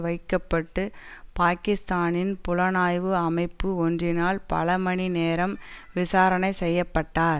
வைக்க பட்டு பாக்கிஸ்தானின் புலனாய்வு அமைப்பு ஒன்றினால் பல மணி நேரம் விசாரணை செய்ய பட்டார்